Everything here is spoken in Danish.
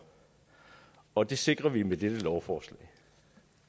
og det sikrer vi med dette lovforslag